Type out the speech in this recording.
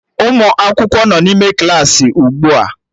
Ụmụ akwụkwọ nọ n'ime Klassị ugbu a